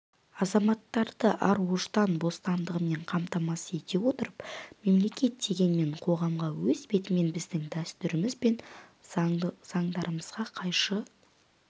азаматтарды ар-ождан бостандығымен қамтамасыз ете отырып мемлекет дегенмен қоғамға өз бетімен біздің дәстүріміз бен заңдарымызға қайшы